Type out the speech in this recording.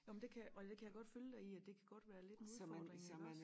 Nå men det kan jeg og det kan jeg godt følge dig i at det kan godt være lidt en udfording iggås